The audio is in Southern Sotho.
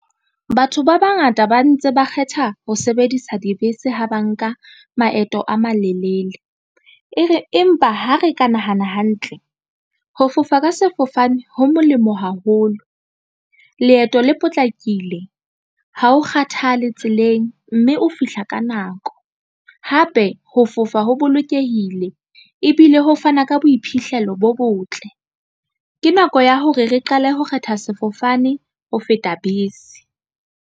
Batho ba bangata ba ntse ba kgetha ho sebedisa dibese ha ba nka maeto a malelele. E re empa ha re ka nahana hantle ho fofa ka sefofane ho molemo haholo leeto le potlakile ha o kgathale tseleng mme o fihla ka nako hape ho fofa ho bolokehile ebile ho fana ka boiphihlelo bo botle. Ke nako ya hore re qale ho kgetha sefofane ho feta bese.